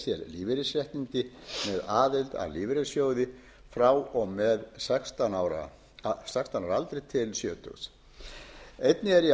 lífeyrisréttindi með aðild að lífeyrissjóði frá og með sextán ára til sjötíu ára aldurs einnig er í